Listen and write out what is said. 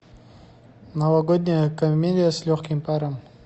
новогодняя комедия с легким паром